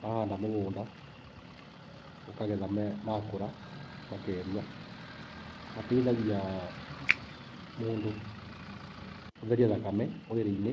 Wahanda mũgũnda, ũkagetha maakũra, makeruha. Mateithagia mũndũ gũtheria thakame mwĩrĩ-inĩ.